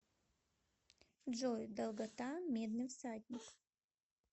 джой долгота медный всадник